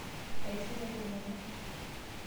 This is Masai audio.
Aishunye kilome.